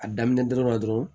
A daminɛ dɔrɔn